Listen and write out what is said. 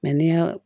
ni y'a